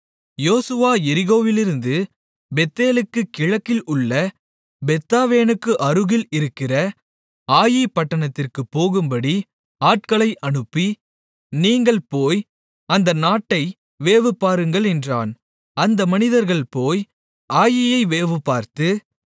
யோசுவா எரிகோவிலிருந்து பெத்தேலுக்குக் கிழக்கில் உள்ள பெத்தாவேனுக்கு அருகில் இருக்கிற ஆயீ பட்டணத்திற்குப் போகும்படி ஆட்களை அனுப்பி நீங்கள் போய் அந்த நாட்டை வேவுபாருங்கள் என்றான் அந்த மனிதர்கள் போய் ஆயீயை வேவுபார்த்து